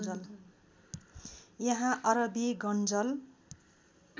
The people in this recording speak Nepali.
यहाँ अरबी गङ्नजल